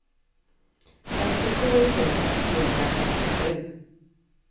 femtiosju tusen trehundrafemtiosju